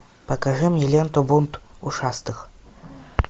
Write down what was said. покажи мне ленту бунт ушастых